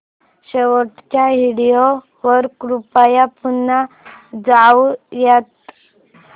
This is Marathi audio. शेवटच्या व्हिडिओ वर कृपया पुन्हा जाऊयात